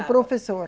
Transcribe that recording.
O professor.